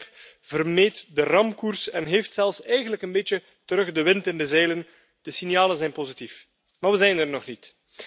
Het schip vermeed de ramkoers en heeft eigenlijk zelfs een beetje terug de wind in de zeilen. De signalen zijn positief, maar we zijn er nog niet.